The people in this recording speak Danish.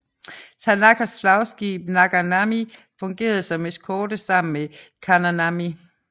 Tanakas flagskib Naganami fungerede som eskorte sammen med Takanami